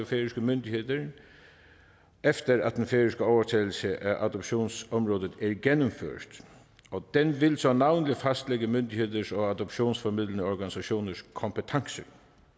færøske myndigheder efter at den færøske overtagelse af adoptionsområdet er gennemført og den vil så navnlig fastlægge myndigheders og adoptionsformidlende organisationers kompetence